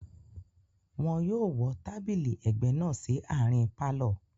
Wọ́n yóò wọ́ tábìlì ẹ̀gbẹ́ náà sí àárín pálọ̀